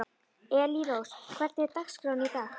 Elírós, hvernig er dagskráin í dag?